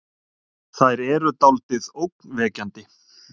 Þær eru dáldið ógnvekjandi.